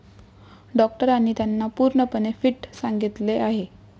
डॉक्टरांनी त्यांना पूर्णपणे फिट सांगितले आहे.